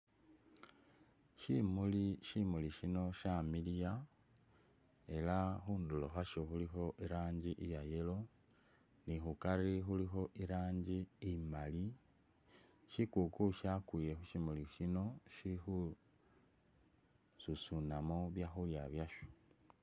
Shimuli shimuli shino shamiliya ela khunduro khwasho khulikho iranji iya’yellow ni khukari khulikho iraji imali ,shikuku shakwile khushimuli shino shikhususunamo byakhulya byasho .